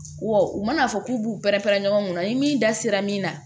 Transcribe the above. W'o u mana fɔ k'u b'u pɛrɛn-pɛrɛn ɲɔgɔn kunna ni min da sera min na